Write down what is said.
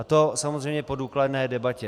A to samozřejmě po důkladné debatě.